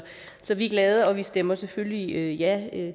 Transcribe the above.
så vi er glade og vi stemmer selvfølgelig ja